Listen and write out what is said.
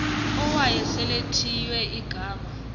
owayesel ethiywe igama